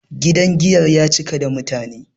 gidan giyar ya cika da mutane